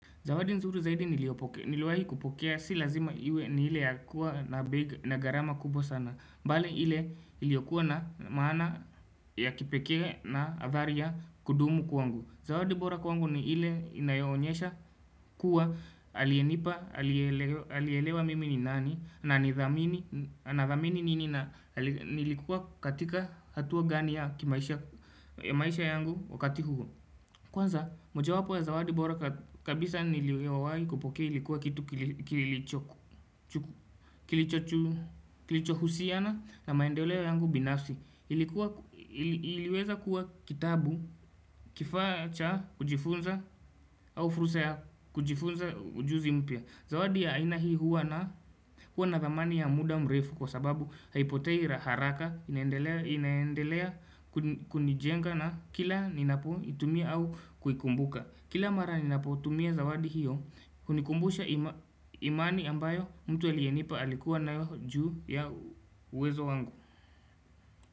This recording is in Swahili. Zawadi nzuri zaidi niliwahi kupokea si lazima iwe ni ile ya kuwa na beg na garama kubwa sana. Mbale ile iliokuwa na maana ya kipekee na avaria kudumu kuangu. Zawadi bora kwangu ni ile inayoonyesha kuwa alienipa alielewa mimi ni nani na nilikuwa katika hatua gani ya maisha yangu wakati huu. Kwanza moja wapo ya zawadi bora kabisa niliyowai kupokea ilikuwa kitu kilicho husiana na maendeleo yangu binafsi ilikuwa iliweza kuwa kitabu kifaa cha kujifunza au fursa ya kujifunza ujuzi mpya. Zawadi ya aina hii huwa na huwa na thamani ya muda mrefu kwa sababu haipotei haraka inaendelea kunijenga na kila ninapo itumia au kuikumbuka Kila mara ninapo tumia zawadi hiyo hunikumbusha imani ambayo mtu aliyenipa alikuwa nayo juu ya uwezo wangu.